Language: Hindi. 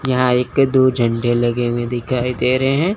यहां एक दो झंडे लगे हुए दिखाई दे रहे हैं।